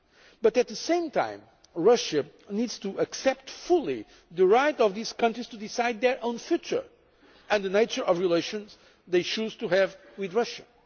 ties. But at the same time, Russia needs to accept fully the right of these countries to decide their own future and the nature of the relations they choose to have with